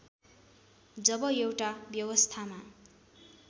जब एउटा व्यवस्थामा